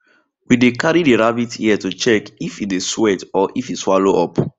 we dey carry the rabbit ear to check if e dey sweat or if e swallow up